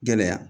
Gɛlɛya